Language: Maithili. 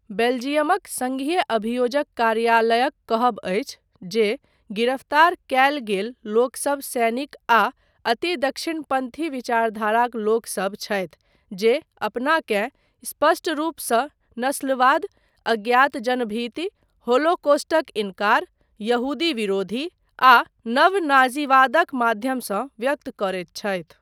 बेल्जियमक 'संघीय अभियोजक' कार्यालयक कहब अछि जे गिरफ्तार कयल गेल लोकसब सैनिक आ अति दक्षिणपन्थी विचारधाराक लोकसब छथि जे अपनाकेँ स्पष्ट रूपसँ नस्लवाद, अज्ञातजनभीति, होलोकॉस्टक इनकार, यहूदी विरोधी आ नव नाज़ीवादक माध्यमसँ व्यक्त करैत छथि।